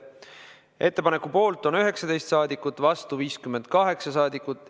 Ettepaneku poolt on 19 saadikut, vastu 58 saadikut.